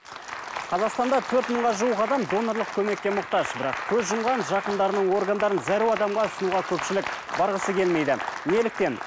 қазақстанда төрт мыңға жуық адам донорлық көмекке мұқтаж бірақ көз жұмған жақындарының органдарының зәру адамға ұсынуға көпшілік барғысы келмейді неліктен